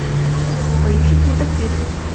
поищи детектив